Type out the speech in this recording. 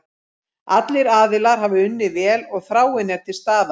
Allir aðilar hafa unnið vel og þráin er til staðar.